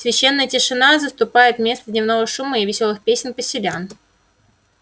священная тишина заступает место дневного шума и весёлых песен поселян